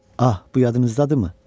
Ah, bu yadınızdadırmı?